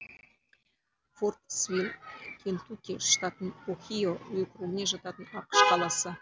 фордсвилл кентукки штатының охио округіне жататын ақш қаласы